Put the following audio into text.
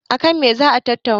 a kan me za a tattauna?